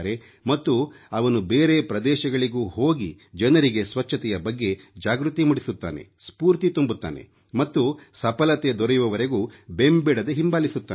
ಮತ್ತು ಅವನು ಬೇರೆ ಪ್ರದೇಶಗಳಿಗೂ ಹೋಗಿ ಜನರಿಗೆ ಸ್ವಚ್ಛತೆಯ ಬಗ್ಗೆ ಜಾಗೃತಿ ಮೂಡಿಸುತ್ತಾನೆ ಸ್ಫೂರ್ತಿ ತುಂಬುತ್ತಾನೆ ಮತ್ತು ಸಫಲತೆ ದೊರೆಯುವವರೆಗೂ ಬೆಂಬಿಡದೆ ಹಿಂಬಾಲಿಸುತ್ತಾನೆ